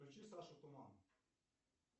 включи сашу туман